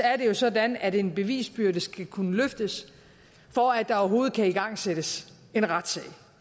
er det jo sådan at en bevisbyrde skal kunne løftes for at der overhovedet kan igangsættes en retssag